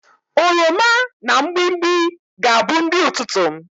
Oroma na mgbimgbi ga-abu nri ututu m